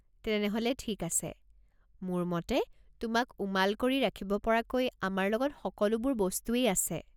তেনেহ'লে ঠিক আছে। মোৰ মতে তোমাক উমাল কৰি ৰাখিব পৰাকৈ আমাৰ লগত সকলোবোৰ বস্তুয়েই আছে।